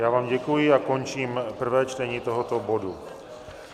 Já vám děkuji a končím prvé čtení tohoto bodu.